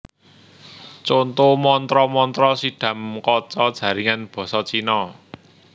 Conto mantra mantra Siddham Kaca jaringan basa Cina